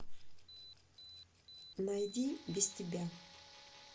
найди без тебя